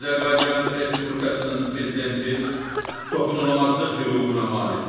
Azərbaycan Respublikasının Prezidenti toxunulmazlıq hüququna malikdir.